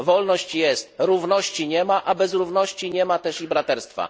Wolność jest, równości nie ma, a bez równości nie ma też i braterstwa.